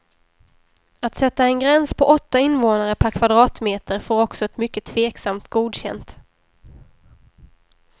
Att sätta en gräns på åtta invånare per kvadratmeter får också ett mycket tveksamt godkänt.